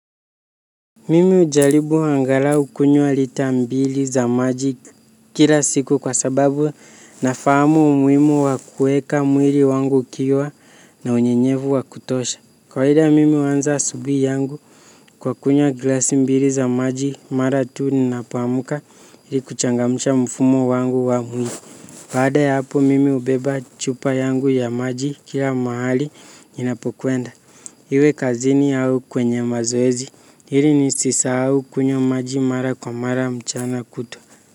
Mimi hujaribu angalau kunywa lita mbili za maji kila siku kwa sababu nafahamu umuhimu wa kueka mwili wangu ukiwa na unyenyevu wa kutosha. Kawaida mimi huanza asubuhi yangu kwa kunywa glasi mbili za maji mara tu ninapoamka ili kuchangamsha mfumo wangu wa mwili. Baada ya hapo mimi hubeba chupa yangu ya maji kila mahali ninapokwenda. Iwe kazini au kwenye mazoezi, ili nisisahau kunywa maji mara kwa mara mchana kutwa.